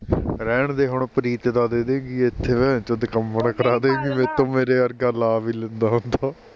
ਰਹਿਣਦੇ ਹੁਣ ਪ੍ਰੀਤ ਦਾ ਦੇਦੇਗੀ ਏਥੇ xx ਦਿੱਖਮਣ ਕਰਾਦੇਗੀ ਮੈਥੋਂ ਮੇਰੇ ਵਰਗਾ ਲਾ ਵੀ ਲੈਂਦਾ ਹੁੰਦਾ